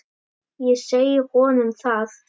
Ég segi honum það.